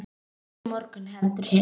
Ekki á morgun heldur hinn.